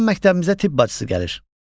Bəzən məktəbimizə tibb bacısı gəlir.